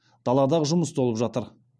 даладағы жұмыс толып жатыр